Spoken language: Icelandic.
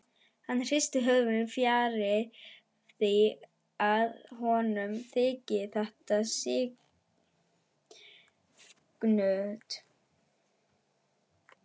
Hann hristir höfuðið, fjarri því að honum þyki þetta sniðugt.